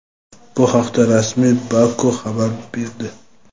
Bu haqda rasmiy Baku xabar berdi.